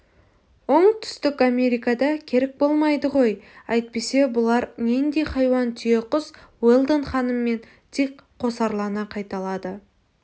оңтүстік америкада керік болмайды ғой әйтпесе бұлар нендей хайуан түйеқұс уэлдон ханым мен дик қосарлана қайталады